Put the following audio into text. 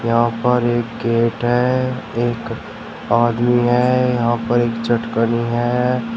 यहां पर एक गेट है एक आदमी है यहां पर एक चटकनी है।